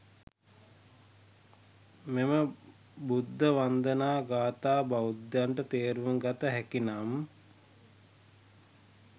මෙම බුද්ධ වන්දනා ගාථාව, බෞද්ධයන්ට තේරුම් ගත හැකිනම්